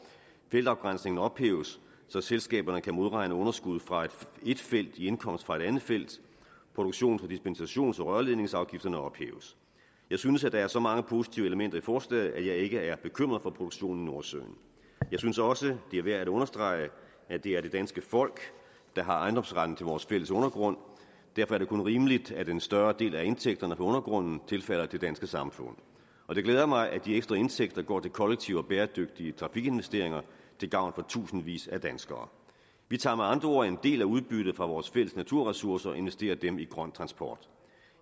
feltafgrænsningen ophæves så selskaberne kan modregne underskuddet fra et felt i indkomst fra et andet felt og produktions dispensations og rørledningsafgifterne ophæves jeg synes at der er så mange positive elementer i forslaget at jeg ikke er bekymret for produktionen i nordsøen jeg synes også det er værd at understrege at det er det danske folk der har ejendomsretten til vores fælles undergrund derfor er det kun rimeligt at en større del af indtægterne fra undergrunden tilfalder det danske samfund og det glæder mig at de ekstra indtægter går til kollektive og bæredygtige trafikinvesteringer til gavn for tusindvis af danskere vi tager med andre ord en del af udbyttet fra vores fælles naturressourcer og investerer dem i grøn transport